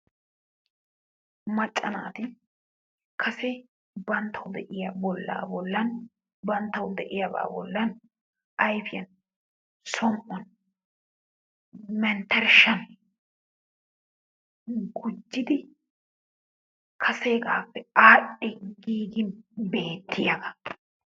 Macca naati kase banttawu de'iya bollaa bollan banttawu de'iyabaa bollan ayfiyan, som"uwan, menttershshan gujjidi kaseegaappe aadhdhi giigidi beettiyagaa.